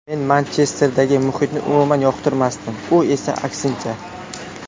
Men Manchesterdagi muhitni umuman yoqtirmasdim, u esa aksincha.